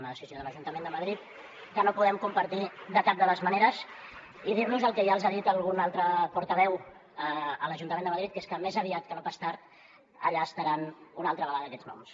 una decisió de l’ajuntament de madrid que no podem compartir de cap de les maneres i dir los el que ja els ha dit algun altre portaveu a l’ajuntament de madrid que és que més aviat que no pas tard allà estaran una altra vegada aquests noms